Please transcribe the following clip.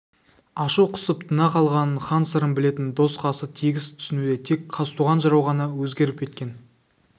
ашу қысып тына қалғанын хан сырын білетін дос-қасы тегіс түсінуде тек қазтуған жырау ғана өзгеріп кеткен